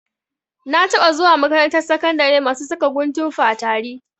Na taɓa zuwa makarantar sakandari masu saka guntun fatari.